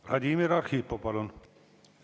Vladimir Arhipov, palun!